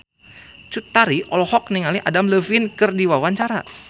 Cut Tari olohok ningali Adam Levine keur diwawancara